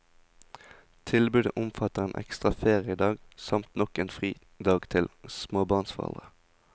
Tilbudet omfatter en ekstra feriedag, samt nok en fridag til småbarnsforeldre.